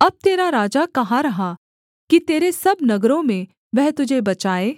अब तेरा राजा कहाँ रहा कि तेरे सब नगरों में वह तुझे बचाए